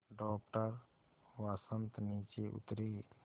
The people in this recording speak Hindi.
डॉक्टर वसंत नीचे उतरे